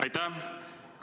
Aitäh!